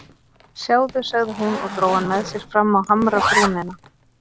Sjáðu sagði hún og dró hann með sér fram á hamrabrúnina.